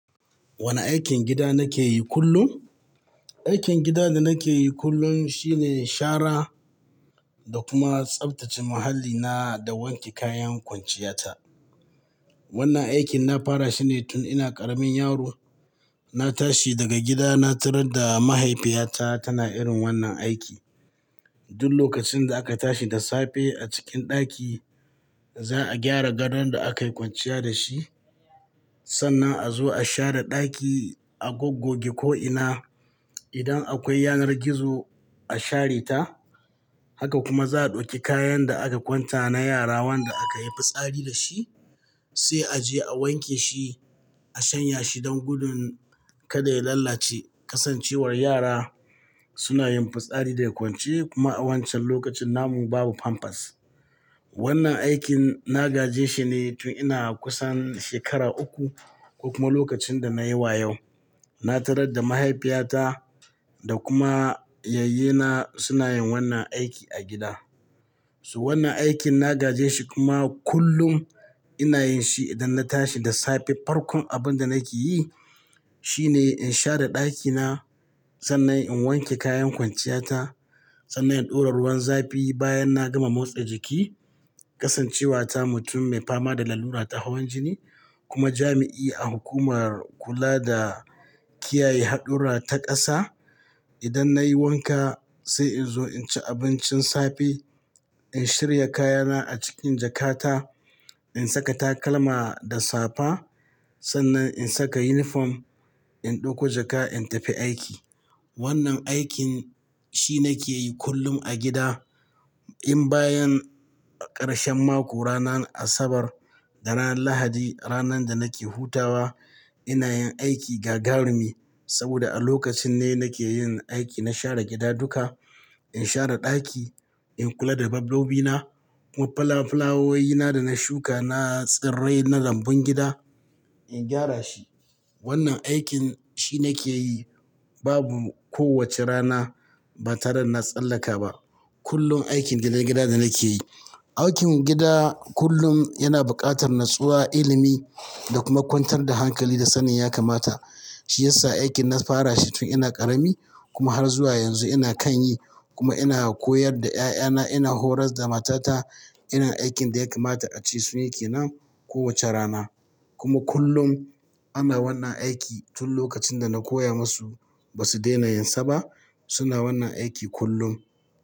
Wane aikin gida nake yi kullum? Aikin gida da nake yi kullum shine shara da kuma tsaftace muhallina, da wanke kayan kwanciyata. Wannan aikin na fara shi ne tun ina ƙaramin yaro. Na tashi daga gida na tarar da mahaifiyata tana irin wannan aiki. Duk lokacin da aka tashi da safe a cikin ɗaki za a gyara gadon da aka yi kwanciya da shi. Sannan a zo a share ɗaki, a goggo ge ko'ina. Idan akwai yanar gizo, a share ta. Haka kuma za'a ɗauki kayan da aka kwanta na yara wanda aka yi fitsari da shi, sai a je a wanke shi, a shanya shi don gudun kada ya lalace. Kasancewar yara suna yin fitsari daga kwance, kuma a wancan lokacin namu babu pampers. Wannan aikin na gaje shi ne tun ina kusan shekara uku, ko kuma lokacin da nayi wa yau. Na tarar da mahaifiyata da kuma yayyena suna yin wannan aiki a gida. So wannan aikin na gaje shi kuma kullum ina yin shi idan na tashi da safe. Farkon abin da nake yi shine in share ɗakina, sannan in wanke kayan kwanciyata, sannan in ɗora ruwan zafi bayan na gama motsa jiki, kasancewa ta mutum mai fama da lalura ta hawan jini, kuma jami'i a hukumar kula da kiyaye haɗurra ta ƙasa, idan nayi wanka, sai in zo in ci abincin safe, in shirya kayana a cikin jakata, in saka takalma da safa, sannan in saka yunifom, in ɗauko jaka in tafi aiki. Wannan aikin shi nake yi kullum a gida. In bayan ƙarshen mako ranar Asabar da ranar Lahadi, ranar da nake hutawa, ina yin aiki gagarumi saboda a lokacin ne nake yin aiki na share gida duka. In share ɗaki, in kula da dabbobina, kuma fulawowina da na shuka na tsirrai na lambun gida, in gyara shi. Wannan aikin shi nake yi. Babu kowace rana ba tare da na tsallaka ba. Kullum aikin gidan gida da nake yi. Aikin gida kullum yana buƙatar natsuwa, ilimi da kuma kwantar da hankali da sanin ya kamata. Shi ya sa aikin na fara shi tun ina ƙarami, kuma har zuwa yanzu ina kan yi, kuma ina koyar da ƴaƴana, ina horas da matata. Irin aikin da ya kamata ace sunyi ke nan kowace rana. Kuma kullum ana wannan aiki tun lokacin da na koya musu ba su daina yinsa ba, suna wannan aiki kullum.